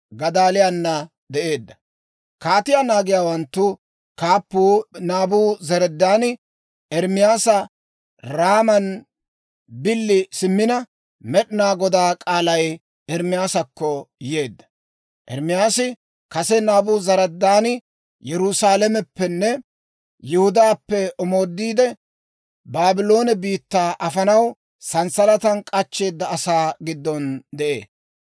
Kaatiyaa naagiyaawanttu kaappuu Naabuzaradaani Ermaasa Raaman billi simmina, Med'inaa Godaa k'aalay Ermaasakko yeedda. Ermaasi kase Naabuzaradaani Yerusaalameppenne Yihudaappe omoodiide, Baabloone biittaa afanaw sanssalatan k'achcheeda asaa giddon de'ee.